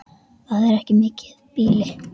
Það er mikið býli.